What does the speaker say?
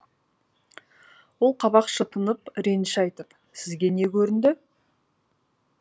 ол қабақ шытынып реніш айтып сізге не көрінді